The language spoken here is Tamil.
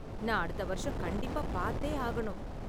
நான் அடுத்த வருஷம் கண்டிப்பா பாத்தே ஆகணும்.